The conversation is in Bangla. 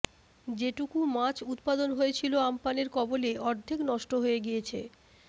যেটুকু মাছ উৎপাদন হয়েছিল আমপানের কবলে অর্ধেক নষ্ট হয়ে গিয়েছে